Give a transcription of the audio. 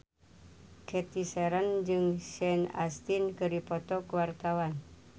Cathy Sharon jeung Sean Astin keur dipoto ku wartawan